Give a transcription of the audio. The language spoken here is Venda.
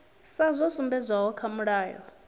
sa zwo sumbedzwaho kha mulayo